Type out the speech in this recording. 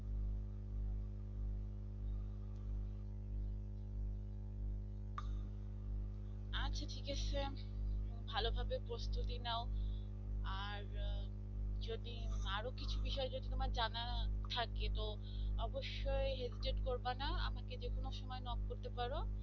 আচ্ছা ঠিক আছে ভালোভাবে প্রস্তুতি নাও আর যদি আরো কিছু বিষয় যে তোমার জানা থাকে তো অবশ্যই hesitate করবা না আমাকে যে কোন সময় knock করতে পারো।